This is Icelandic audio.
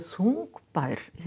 þungbær